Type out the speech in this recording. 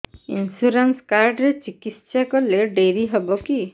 insurance card ରେ ଚିକିତ୍ସା କଲେ ଡେରି ହବକି